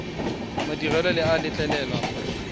madirelo le a letlelela fa